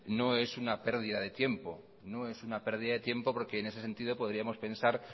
no es una pérdida de tiempo no es una pérdida de tiempo porque en ese sentido podríamos pensar